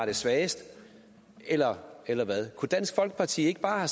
er svagest eller eller hvad kunne dansk folkeparti ikke bare